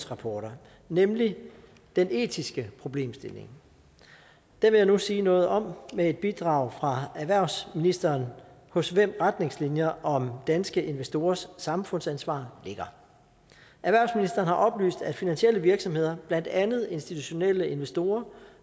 rapporter nemlig den etiske problemstilling det vil jeg nu sige noget om med et bidrag fra erhvervsministeren hos hvem retningslinjer om danske investorers samfundsansvar ligger erhvervsministeren har oplyst at finansielle virksomheder blandt andet institutionelle investorer